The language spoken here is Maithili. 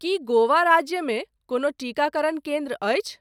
की गोवा राज्यमे कोनो टीकाकरण केन्द्र अछि ?